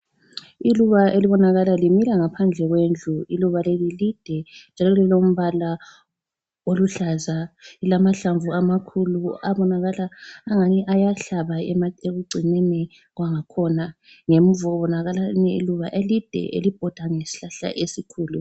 Iluba elibonakala limila ngaphandle kwendlu, iluba leli lide njalo lilombala oluhlaza lilamahlamvu amakhulu abonakala angani ayahlaba ekugcineni kwangakhona. Ngemuva kubonakala elinye iluba elide elibhoda ngesihlahla esikhulu.